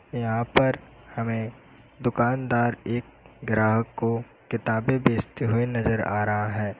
यहां पर हमें दुकानदार एक ग्राहक को किताबें बेचते हुए नजर आ रहा है।